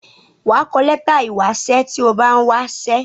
Wà á kọ lẹ́tà ìwásẹ́ tí o bá ń wásẹ́.